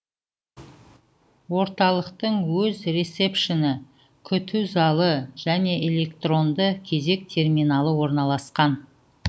орталықтың өз ресепшні күту залы және электронды кезек терминалы орналасқан